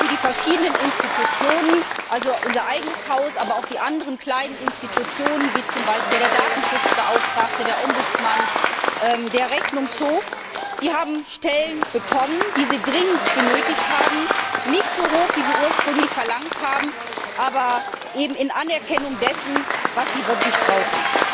Die verschiedenen Institutionen, also unser eigenes Haus, aber auch die anderen kleinen Institutionen, wie zum Beispiel der Datenschutzbeauftragte, der Bürgerbeauftragte, der Rechnungshof, haben Stellen bekommen, die sie dringend benötigen, nicht so viele, wie sie ursprünglich verlangt haben, aber in Anerkennung dessen, was sie wirklich brauchen.